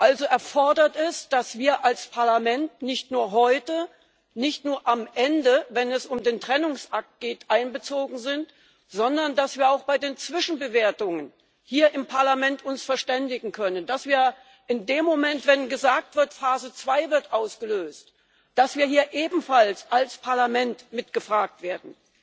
Also erfordert es, dass wir als Parlament nicht nur heute, nicht nur am Ende, wenn es um den Trennungsakt geht, einbezogen sind, sondern dass wir uns auch bei den Zwischenbewertungen hier im Parlament verständigen können, dass wir in dem Moment, wenn gesagt wird Phase zwei wird ausgelöst, hier ebenfalls als Parlament mit gefragt werden.